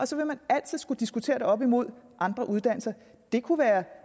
så vil man altid skulle diskutere det op imod andre uddannelser det kunne være